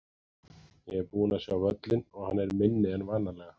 Ég er búinn að sjá völlinn og hann er minni en vanalega.